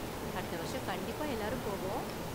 அடுத்த வருஷம் கண்டிப்பா எல்லாரும் போவோம்.